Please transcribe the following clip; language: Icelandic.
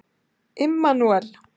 Immanúel